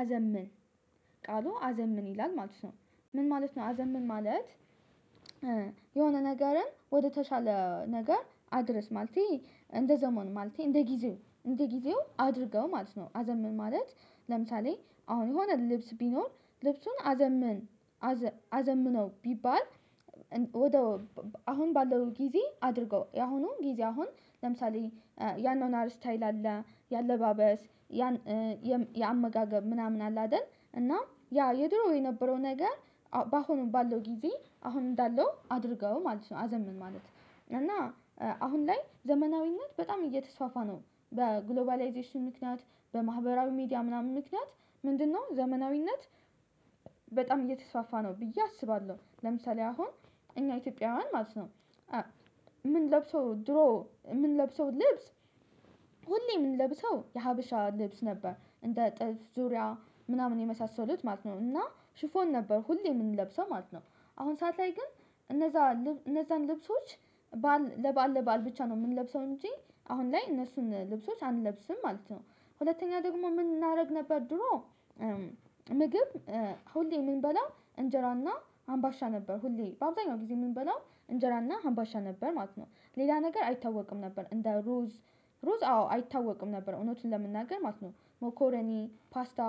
አዘምን ቃሉ አዘምን ይላል ማለት ነው ምን ማለት ነው አዘን ምን ማለት? የሆነ ነገርን ወደተሻለ ነገር አድረስ ማለቴ እንደ ዘመን ማለቴ እንደ እንደጊዜው አድርገው ማለት ነው። አዘምን ማለት ለምሳሌ አሁን የሆነ ልብስ ቢኖር ልብሱን አዘምን። አዘምነው ቢባል ወደ አሁን ባለው ጊዜ አድርገው ያሁኑ ጊዜ አሁን ለምሳሌ ያንን አርስታይል አለ የአለባበስ ያን የአመጋገብ ምናምን አለ አይደል? እና ያ የድሮ የነበረው ነገር በአሁኑ ባለው ጊዜ አሁን እንዳለው አድርገው ማለት ነው። አዘምን ማለት እና አሁን ላይ ዘመናዊነት በጣም እየተስፋፋ ነው በግሎባላይዜሽን ምክንያት በማህበራዊ ሚዲያ ምናምን ምክንያት ምንድነው ዘመናዊነት? በጣም እየተስፋፋ ነው ብዬ አስባለሁ ለምሳሌ አሁን እኛ ኢትዮጵያውያን ማለት ነው። ምን ለብሰው ድሮ ምን ለብሰው ልብስ ሁሌ የምንለብሰው የሀበሻ ልብስ ነበር እንደ ጥልት ዙሪያ ምናምን የመሳሰሉት ማለት ነው እና ሽፎን ነበር ሁሌ የምንለብሰው ማለት ነው። አሁን ሰዓት ላይ ግን እነዛ እነዛን ልብሶች ባል ለባል ለባል ብቻ ነው የምንለብሰው እንጂ አሁን ላይ እነሱን ልብሶች አንለብስም ማለት ነው። ሁለተኛ ደግሞ ምን እናደርግ ነበር ድሮ? ምግብ ሁሌ የምንበላ እንጀራና አምባሻ ነበር ሁሌ በአበዛያኛው ጊዜ የምንበላው እንጀራና አምባሻ ነበር ማለት ነው። ሌላ ነገር አይታወቅም ነበር እንደ ሩዝ ሩዝ አዎ አይታወቅም ነበር እውነትን ለመናገር ማለት ነው ሞኮረኒ ፓስታ።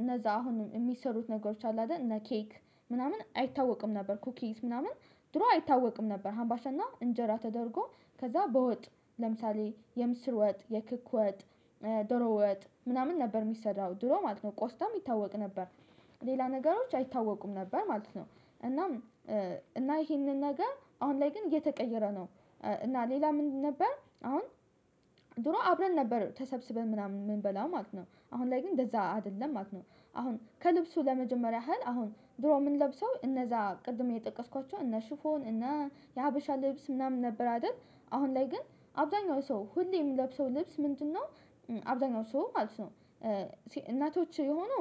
እነዛ አሁን የሚሰሩት ነገሮች አሉ አይደል እነ ኬክ ምናምን አይታወቅም ነበር ኩኪስ ምናምን ድሮ አይታወቅም ነበር ሀምባሻና እንጀራ ተደርጎ ከዛ በወጥ ለምሳሌ የምስር ወጥ የክክ ወጥ። ዶሮ ወጥ ምናምን ነበር የሚሰዳው ድሮ ማለት ነው ቆስጠም ይታወቅ ነበር ሌላ ነገሮች አይታወቁም ነበር ማለት ነው። እናም እና ይሄንን ነገር አሁን ላይ ግን የተቀየረ ነው። እና ሌላ ምንድነው? ነበር አሁን ድሮ አብረን ነበር ተሰብስበን ምናምን የምንበላው ማለት ነው አሁን ላይ ግን እንደዛ አይደለም ማክ ነው። አሁን ከልብሱ ለመጀመሪያ ያህል አሁን ድሮ ምን ለብሰው እነዛ ቅድም እየጠቀስኳቸው እነ ሽፎን እነ የሀበሻ ልብስ ምናምን ነበር አይደል? አሁን ላይ ግን አብዛኛው ሰው ሁሌ የምለብሰው ልብስ ምንድነው? አብዛኛው ሰው አልሰው እናቶች የሆኑ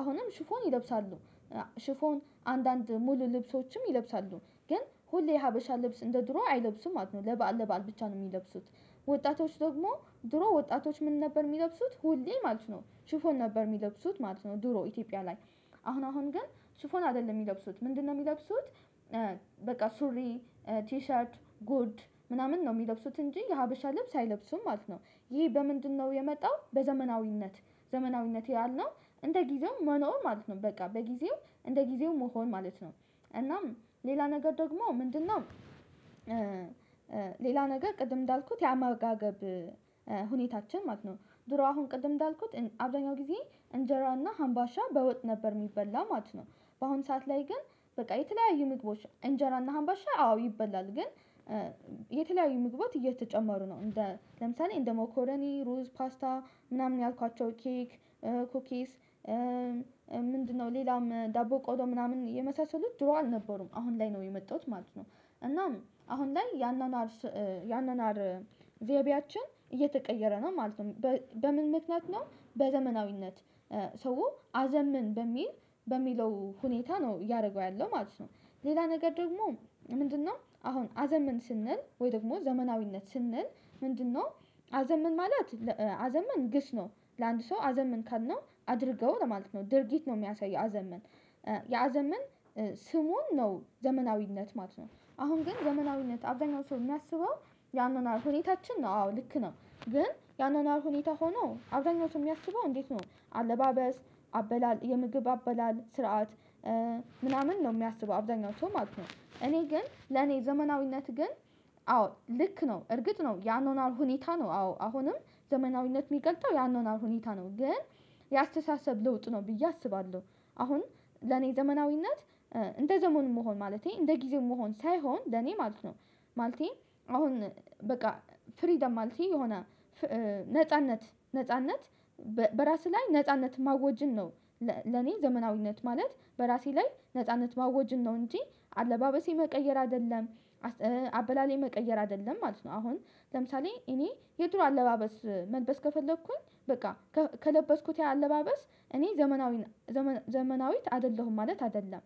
አሁንም ሽፎን ይለብሳሉ። ሽፎን አንዳንድ ሙሉ ልብሶችም ይለብሳሉ ግን ሁሌ ሀበሻ ልብስ እንደ ድሮ አይለብስም ማለት ነው። ለባል ለባል ብቻ ነው የሚለብሱት። ወጣቶች ደግሞ ድሮ ወጣቶች ምን ነበር የሚለብሱት ሁሌ ማለት ነው ሽፎን ነበር የሚለብሱት ማለት ነው። ድሮ ኢትዮጵያ ላይ አሁን አሁን ግን ሹፎን አይደለም የሚለብሱት ምንድነው የሚለብሱት? በቃ ሱሪ ቲሸርት ጉድ ምናምን ነው የሚለብሱት እንጂ የሀበሻ ልብስ አይለብሱም ማለት ነው። ይህ በምንድነው የመጣው? በዘመናዊነት ዘመናዊነት ያልነው እንደ ጊዜው መኖር ማለት ነው በቃ በጊዜው እንደ ጊዜው መሆን ማለት ነው። እናም ሌላ ነገር ደግሞ ምንድነው? ሌላ ነገር ቅድም እንዳልኩት ያማጋገብ ሁኔታችን ማለት ነው። ድሮ አሁን ቅድም እንዳልኩት አብዳኛው ጊዜ እንጀራና አምባሻ በወጥ ነበር የሚበላ ማለት ነው። በአሁን ሰዓት ላይ ግን በቃ የተለያዩ ምግቦች እንጀራና አምባሻ አዎ ይበላል ግን። የተለያዩ ምግባት እየተጨማሩ ነው እንደ ለምሳሌ እንደ ሞኮሎኒ ሩዝ ፓስታ ምናምን ያልኳቸው ኬክ ኩኪስ ምንድነው ሌላም ዳቦ ቆሎ ምናምን የመሳሰሉት ድሮ አልነበሩም አሁን ላይ ነው የመጣሁት ማለት ነው። እናም አሁን ላይ ያናናር ያንን ዘይቤያችን እየተቀየረ ነው ማለት ነው። በምን ምክንያት ነው? በዘመናዊነት ሰው አዘምን በሚል በሚለው ሁኔታ ነው እያደረገው ያለው ማለት ነው። ሌላ ነገር ደግሞ ምንድነው? አሁን አዘመን ስንል ወይ ደግሞ ዘመናዊነት ስንል ምንድነው? አዘመን ማለት አዘመን ግስ ነው። ለአንድ ሰው አዘመን ካልነው አድርገው ለማለት ነው ድርጊት ነው የሚያሳየው አዘመን። የአዘመን ስሙን ነው ዘመናዊነት ማለት ነው። አሁን ዘመናዊነት አብዛኛው ሰው የሚያስበው ያንን አልሆነ ሁኔታችን ነው አዎ ልክ ነው። ግን ያንን ሁኔታ ሆኖ አብደኛዎቹ የሚያስበው እንዴት ነው? አለባበስ አበላል የምግብ አበላል ስርዓት ምናምን ነው የሚያስበው አብዛኛው ሰው ማለት ነው። እኔ ግን ለኔ ዘመናዊነት ግን አዎ ልክ ነው እርግጥ ነው ያኖናል ሁኔታ ነው አዎ አሁንም ዘመናዊነት የሚቀልጠው ያንን ሁኔታ ነው ግን የአስተሳሰብ ለውጥ ነው ብዬ አስባለሁ። አሁን ለኔ ዘመናዊነት እንደ ዘመኑ መሆን ማለቴ እንደ ጊዜው መሆን ሳይሆን ለኔ ማለት ነው። ማለቴ አሁን በቃ ፍሪደም ማለቴ የሆነ ነጻነት ነጻነት በራስህ ላይ ነጻነት ማወጅን ነው። ለኔ ዘመናዊነት ማለት በራሴ ላይ ነጻነት ማወጅን ነው እንጂ አለባበሴ መቀየር አይደለም። አበላሌ መቀየር አይደለም ማለት ነው። አሁን ለምሳሌ እኔ የድሮ አለባበስ መልበስ ከፈለኩኝ በቃ ከለበስኩት ያ አለባበስ እኔ ዘመናዊ ዘመናዊት አይደለሁም ማለት አይደለም።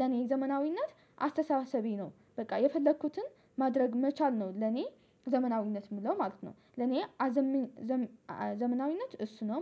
ለኔ ዘመናዊነት አስተሳሰቤ ነው በቃ የፈለኩትን ማድረግ መቻል ነው ለኔ ዘመናዊነት የምለው ማለት ነው። ለኔ አዘም ዘመናዊነት እሱ ነው